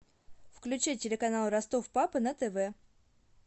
включи телеканал ростов папа на тв